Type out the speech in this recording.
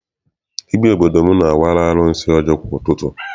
Dibịa obodo m na-awara arụsị ọjị kwa ụtụtụ.